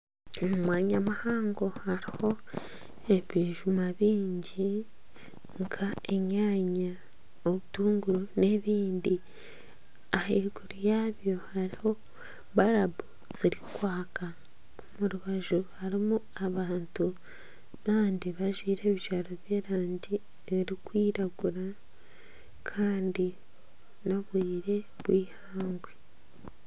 Omu mwanya muhango hariho ebijuma bingi nka enyanya, obutunguru n'ebindi ahaiguru yaabyo hariho barubu ezirikwaka omu rubaju harimu abantu kandi bajwaire ebijwaro by'erangi erikwiragura kandi n'obwire bw'eihangwe.